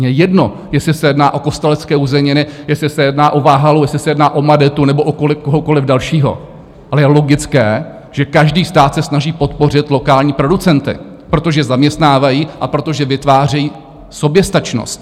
Mně je jedno, jestli se jedná o Kostelecké uzeniny, jestli se jedná o Váhalu, jestli se jedná o Madetu nebo o kohokoliv dalšího, ale je logické, že každý stát se snaží podpořit lokální producenty, protože zaměstnávají a protože vytvářejí soběstačnost.